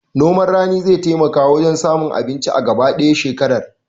Noman rani zai taimaka wajen samun abinci a gaba ɗaya shekarar